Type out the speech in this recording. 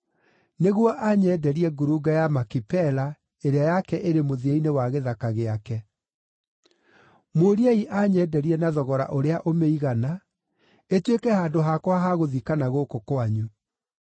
nĩguo anyenderie ngurunga ya Makipela, ĩrĩa yake ĩrĩ mũthia-inĩ wa gĩthaka gĩake. Mũũriei anyenderie na thogora ũrĩa ũmĩigana, ĩtuĩke handũ hakwa ha gũthikana gũkũ kwanyu.”